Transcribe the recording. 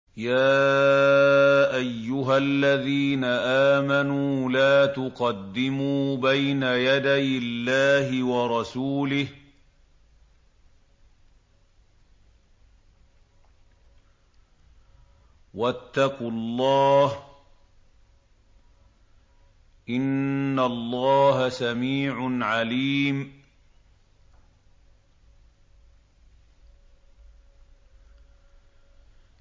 يَا أَيُّهَا الَّذِينَ آمَنُوا لَا تُقَدِّمُوا بَيْنَ يَدَيِ اللَّهِ وَرَسُولِهِ ۖ وَاتَّقُوا اللَّهَ ۚ إِنَّ اللَّهَ سَمِيعٌ عَلِيمٌ